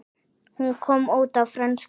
Hún kom út á frönsku